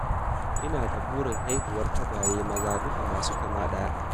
Ina da burin haihuwar tagwaye maza dukka masu kama ɗaya